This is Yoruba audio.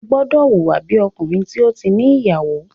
O gbódò hùwa bí Ọkùnrin tí o tí ní ìyàwó!